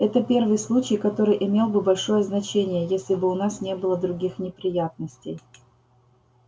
это первый случай который имел бы большое значение если бы у нас не было других неприятностей